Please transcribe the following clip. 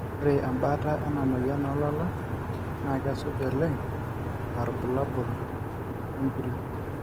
ore embaata ena moyian oolala na kesuj olenga aa irbulabul inguri